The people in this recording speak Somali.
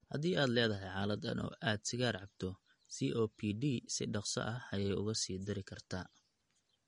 Haddii aad leedahay xaaladdan oo aad sigaar cabto, COPD si dhakhso ah ayey uga sii dari kartaa.